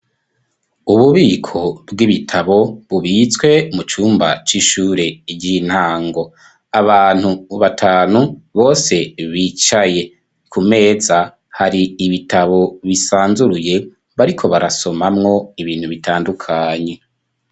Ububiko bw'ibitabo, bubitswe mu cumba c'ishure ry'intango, abantu batanu bose bicaye ku meza, hari ibitabo bisanzuruye, bariko barasomamwo ibintu bitandukanye.